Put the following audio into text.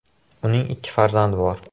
Uning ikki farzandi bor.